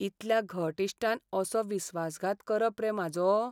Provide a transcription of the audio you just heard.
इतल्या घट इश्टान असो विस्वासघात करप रे म्हाजो!